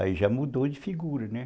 Aí já mudou de figura, né?